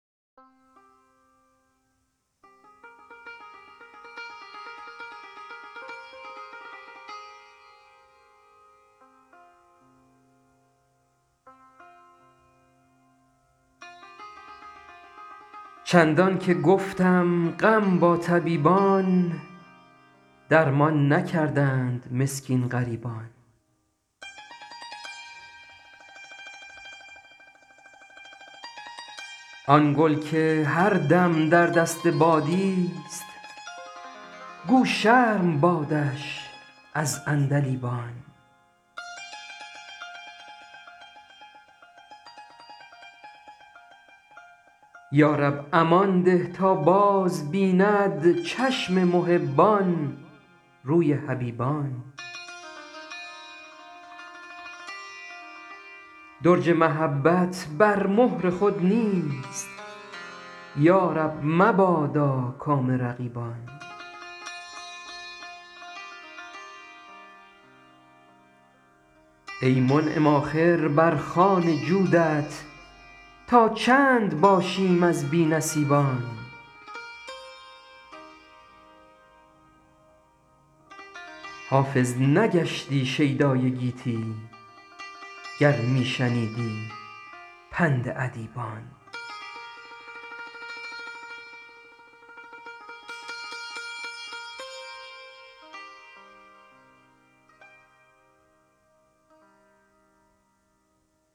چندان که گفتم غم با طبیبان درمان نکردند مسکین غریبان آن گل که هر دم در دست بادیست گو شرم بادش از عندلیبان یا رب امان ده تا بازبیند چشم محبان روی حبیبان درج محبت بر مهر خود نیست یا رب مبادا کام رقیبان ای منعم آخر بر خوان جودت تا چند باشیم از بی نصیبان حافظ نگشتی شیدای گیتی گر می شنیدی پند ادیبان